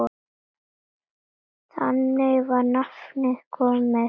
Þannig var nafnið til komið.